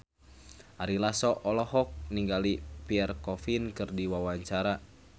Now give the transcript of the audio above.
Ari Lasso olohok ningali Pierre Coffin keur diwawancara